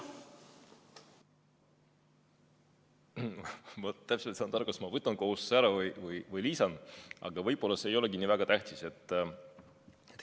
Ma täpselt ei saanud aru, kas ma võtan kohustuse ära või lisan, aga võib-olla see ei olegi nii väga tähtis.